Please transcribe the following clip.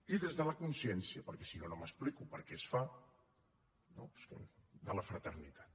i des de la consciència perquè si no no m’explico per què es fa de la fraternitat